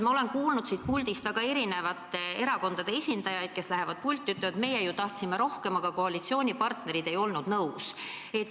Ma olen kuulnud siit puldist erinevate erakondade esindajaid ütlemas, et meie ju tahtsime rohkem, aga koalitsioonipartnerid ei olnud nõus.